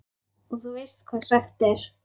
Og þú veist hvað sagt er?